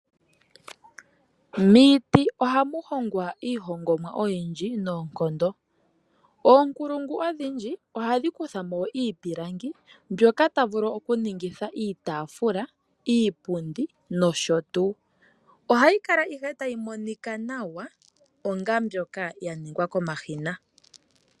Miiti oha mu hongwa iihongomwa oyindji noonkondo. Oonkulungu odhindji ohadhi kuthamo iipilangi mbyoka hayi etapo iitaafula, iipundi nosho tuu. Ohayi kala ihe tayi monika nawa onga mbyoka yaningwa komashina.